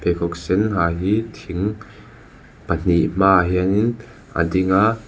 pheikhawk sen ha hi thing pahnih hmaah hianin a ding a.